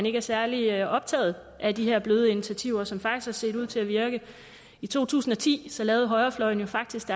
ikke er særlig optaget af de her bløde initiativer som faktisk har set ud til at virke i to tusind og ti lavede højrefløjen jo faktisk